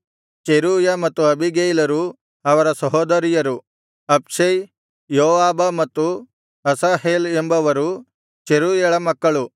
Zeruiah ಮತ್ತು ಅಬೀಗೈಲರು ಅವರ ಸಹೋದರಿಯರು ಅಬ್ಷೈ ಯೋವಾಬ ಮತ್ತು ಅಸಾಹೇಲ್ ಎಂಬವರು ಚೆರೂಯಳ ಮಕ್ಕಳು